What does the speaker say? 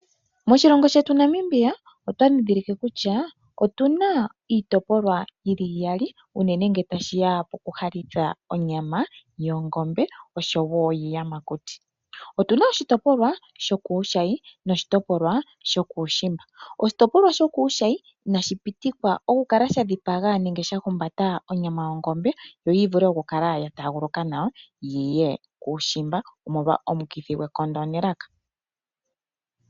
Moshilongo shetu Namibia, otwa ndhindhilike kutya otu na iitopolwa yi li iyali, unene ngele tashi ya pokuhalitha onyama yongombe, osho wo yiiyamakuti. Otu na oshitopolwa shokuushayi, noshitopolwa shokuushimba. Oshitopolwa shokuushayi inashi pitikwa okukala sha dhipaga nenge sha humbata onyama yongombe, yo yi vule okukala ya taaguluka nawa yo yi ye kuushimba, omolwa omukithi gwekondo nelaka.